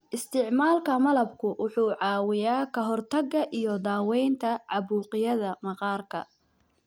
Isticmaalka malabku wuxuu caawiyaa ka hortagga iyo daweynta caabuqyada maqaarka.